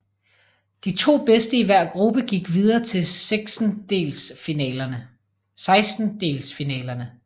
De to bedste i hver gruppe gik videre til sekstendelsfinalerne